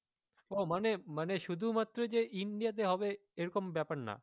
ও মানে মানে শুধুমাত্র যে India তে হবে এরকম ব্যাপার না